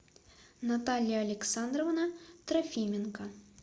наталья александровна трофименко